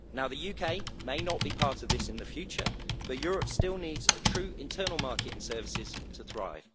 Now the UK may not be part of this in the future, but Europe still needs a true internal market in services to thrive.